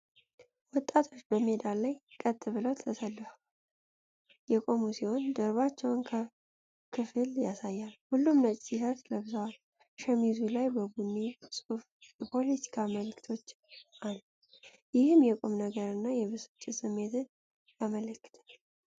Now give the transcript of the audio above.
ወጣቶች በሜዳ ላይ ቀጥ ብለው ተሰልፈው የቆሙ ሲሆን፤ የጀርባቸውን ክፍል ያሳያል። ሁሉም ነጭ ቲሸርት ለብሰዋል። ሸሚዙ ላይ በቡኒ ጽሑፍ የፖለቲካ መልዕክቶች አሉ። ይህም የቁም ነገር እና የብስጭት ስሜትን ያመለክታል።